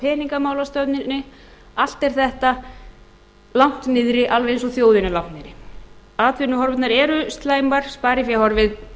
peningamálastefnunni allt er þetta langt niðri alveg eins og þjóðin er langt niðri atvinnuhorfurnar eru slæmar spariféð horfið